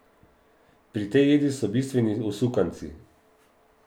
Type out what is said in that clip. Pri tej jedi so bistveni usukanci.